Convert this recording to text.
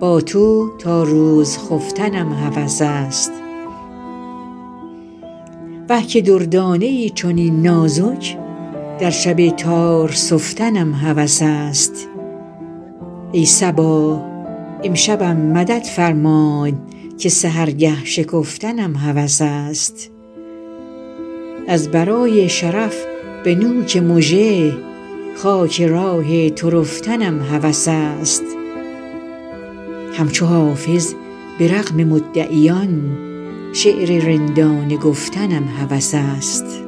با تو تا روز خفتنم هوس است وه که دردانه ای چنین نازک در شب تار سفتنم هوس است ای صبا امشبم مدد فرمای که سحرگه شکفتنم هوس است از برای شرف به نوک مژه خاک راه تو رفتنم هوس است همچو حافظ به رغم مدعیان شعر رندانه گفتنم هوس است